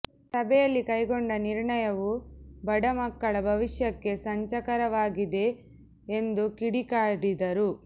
ಸಭೆಯಲ್ಲಿ ಕೈಗೊಂಡ ನಿರ್ಣಯವು ಬಡ ಮಕ್ಕಳ ಭವಿಷ್ಯಕ್ಕೆ ಸಂಚಕರಾವಾಗಿದೆ ಎಂದು ಕಿಡಿಕಾರಿದರು